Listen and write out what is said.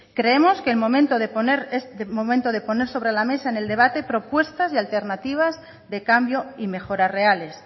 creemos que es el momento de poner sobre la mesa en el debate propuestas y alternativas de cambio y mejoras reales